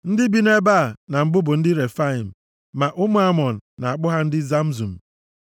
+ 2:20 \+xt Jen 15:5\+xt* Ndị bi nʼebe a na mbụ bụ ndị Refaim, ma ụmụ Amọn na-akpọ ha ndị Zamzum.